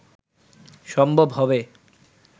সম্ভব হবে